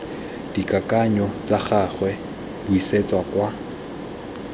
dikakanyo tsa gagwe buisetsa kwa